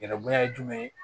Yɛrɛ bonya ye jumɛn ye